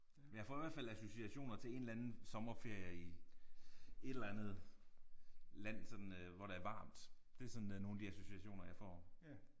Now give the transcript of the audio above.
Men jeg får i hvert fald associationer til en eller anden sommerferie i et eller andet land sådan øh hvor der er varmt. Det er sådan der nogle af de associationer jeg får